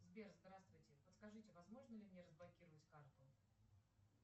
сбер здравствуйте подскажите возможно ли мне разблокировать карту